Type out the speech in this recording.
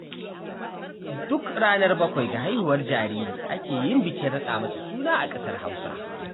Duk ranar bakwai ga haihuwar jariri ake yin bikin raɗa masa suna a ƙasar Hausa